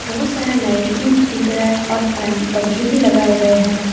बहोत सारा लाइट भी दिख रहा है और पंखे भी लगाए गए हैं।